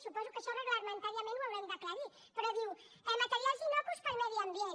suposo que això reglamentàriament ho haurem d’aclarir però diu materials innocus per al medi ambient